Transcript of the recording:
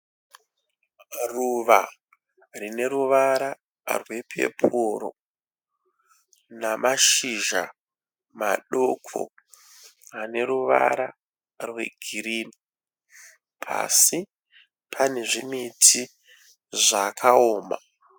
Ruva rine ruvara rwepepuro namashizha madoko ane ruvara rwegirinhi. Pasi pane zvimiti zvakaoma.